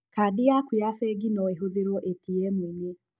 Kandi yaku ya bengi no ĩhũthĩrwo ĩtiemu-inĩ.